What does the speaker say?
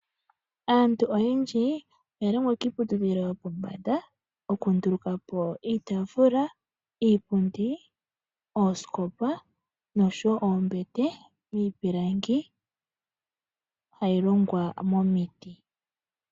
Aantu oyendji oya longwa kiiputudhilo yopomba okundulukapo iitafula, iipundi, oosikopa noshowo oombete dhiipilangi hayi longwa momiti.